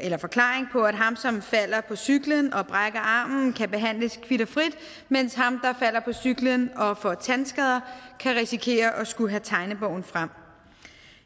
eller forklaring på at ham som falder på cyklen og brækker armen kan behandles kvit og frit mens ham der falder på cyklen og får tandskader kan risikere at skulle have tegnebogen frem